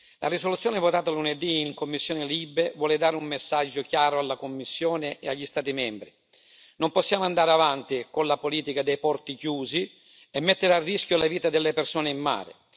La risoluzione votata lunedì in commissione LIBE vuole dare un messaggio chiaro alla Commissione e agli Stati membri. Non possiamo andare avanti con la politica dei porti chiusi e mettere a rischio la vita delle persone in mare.